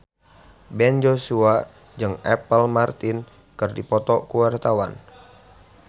Ben Joshua jeung Apple Martin keur dipoto ku wartawan